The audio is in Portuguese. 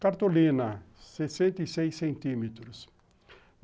Cartolina, sessenta e seis centímetros.